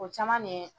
O caman de